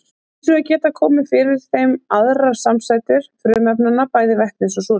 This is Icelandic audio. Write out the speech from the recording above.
Hins vegar geta komið fyrir í þeim aðrar samsætur frumefnanna, bæði vetnis og súrefnis.